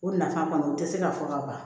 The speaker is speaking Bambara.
O nafa kɔni u tɛ se ka fɔ ka ban